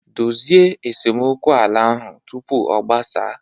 Dozie esemokwu ala ahụ tupu ọ gbasaa